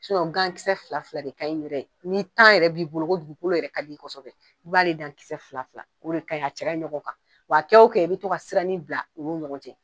Kisɛsɛ fila fila de ka ɲi yɛrɛ n'i yɛrɛ b'i bolo kodugukolo yɛrɛ ka d' i ye kosɛbɛ i b'ale dan kisɛ fila fila o de kagni a cɛ kaɲi ɲɔgɔn kan wa kɛ o kɛ i bɛ to ka sirani bila u ni ɲɔgɔn cɛ.